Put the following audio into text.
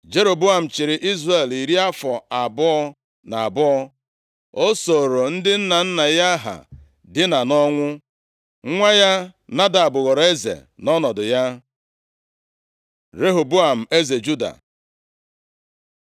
Jeroboam chịrị Izrel iri afọ abụọ na abụọ. O sooro ndị nna nna ya ha dina nʼọnwụ, nwa ya Nadab ghọrọ eze nʼọnọdụ ya. Rehoboam, eze Juda